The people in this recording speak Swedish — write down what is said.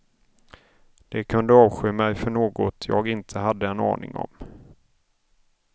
De kunde avsky mig för något jag inte hade en aning om.